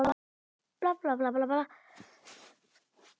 Litlar hendur halda á spilum.